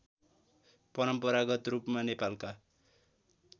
परम्परागत रूपमा नेपालका